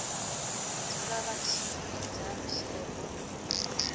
dzula vha tshi ita tsheo